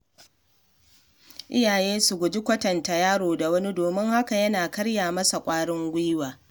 Iyaye su guji kwatanta yaro da wani, domin hakan yana karya masa ƙwarin gwiwa.